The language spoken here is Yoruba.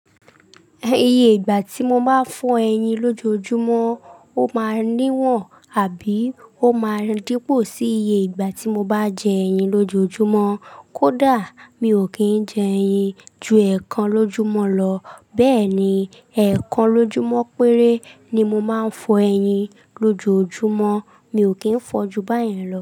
Iye ìgbà tí mo bá fọ ẹyin lójojúmọ́, ó máa níwọ̀n àbí ó máa dípò sí iye ìgbà tí mo bá jẹ ẹyin lójojúmọ́. Kódà mi ò kí ń jẹ ẹyin ju ẹ̀ẹ̀kan lójúmọ́ lọ. Bẹ́ẹ̀ ni, ẹ̀ẹ̀kan lójúmọ́ péré ni mo máa ń fọ ẹyin lójojúmọ́. Mi ò kí ń fọ ju báyìí lọ.